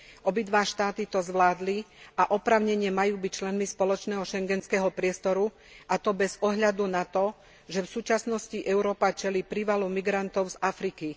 Obidva štáty to zvládli a oprávnene majú byť členmi spoločného Schengenského priestoru, a to bez ohľadu na to, že v súčasnosti Európa čelí prívalu migrantov z Afriky.